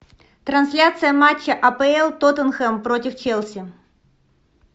трансляция матча апл тоттенхэм против челси